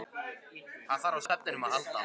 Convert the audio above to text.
Hann þarf á svefninum að halda.